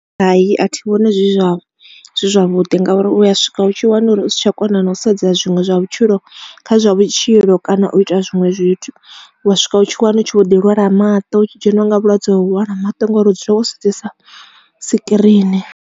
Hai a thi vhoni zwi vha zwi zwavhuḓi ngauri u ya swika u tshi wana uri u si tsha kona na u sedza zwiṅwe zwa vhutshilo kha zwa vhutshilo kana u ita zwinwe zwithu u wa swika u tshi wana u tshi vho di lwala maṱo u tshi dzheniwa nga vhulwadze ho lwala maṱo ngori u dzula wo sedzesa sikirini.